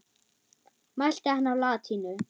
Mælti hann á latínu.